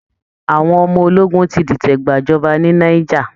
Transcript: Àwọn ọmọ ológun ti dìtẹ̀ gbàjọba ní Niger